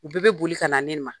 U bɛɛ be boli ka na ne ma.